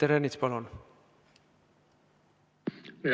Peeter Ernits, palun!